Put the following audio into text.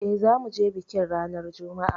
Eh zamuje bikin ranar Juma'a